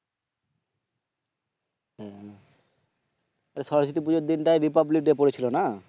তো সরস্বতী পূজার দিন টাই রিপাবলিক ডে পড়েছিল না?